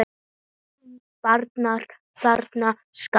Borga bankar þennan skatt?